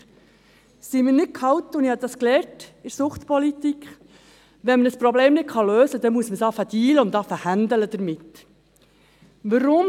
Sind wir nicht gehalten – ich habe das in der Suchtpolitik gelernt –, wenn ein Problem nicht gelöst werden kann, es mit Dealen oder Handeln zu versuchen?